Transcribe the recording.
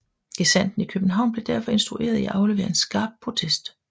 Gesandten i København blev derfor instrueret i at aflevere en skarp protest